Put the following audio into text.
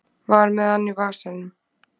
Var með hann í vasanum